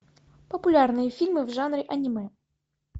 популярные фильмы в жанре аниме